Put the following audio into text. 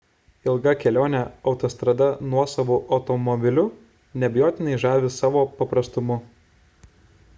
ilga kelionė autostrada nuosavu automobiliu neabejotinai žavi savo paprastumu